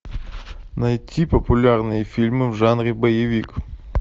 найти популярные фильмы в жанре боевик